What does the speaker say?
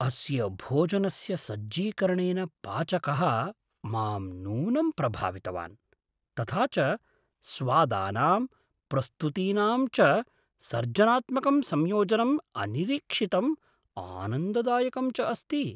अस्य भोजनस्य सज्जीकरणेन पाचकः मां नूनं प्रभावितवान्, तथा च स्वादानां, प्रस्तुतीनां च सर्जनात्मकं संयोजनम् अनिरीक्षितम्, आनन्ददायकं च अस्ति।